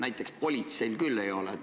Näiteks politseil küll neid andmeid ei ole.